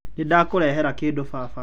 Nĩndakũrehera kĩndũ baba.